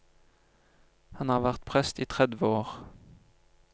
Han har vært prest i tredve år.